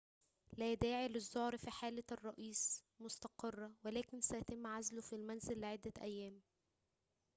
لا داعي للزعر فحالة الرئيس مستقرة ولكن سيتم عزله في المنزل لعدة أيام